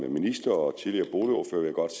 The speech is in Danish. godt